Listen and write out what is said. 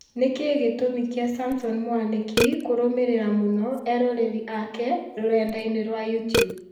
Nĩkĩĩ gĩtũmi kĩa Samson Mwanĩki kũrũmĩrĩra mũno eroreri ake rũrenda-inĩ rwa youtube